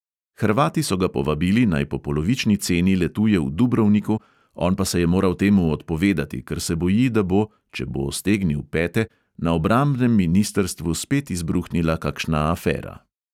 Hrvati so ga povabili, naj po polovični ceni letuje v dubrovniku, on pa se je moral temu odpovedati, ker se boji, da bo – če bo stegnil pete – na obrambnem ministrstvu spet izbruhnila kakšna afera.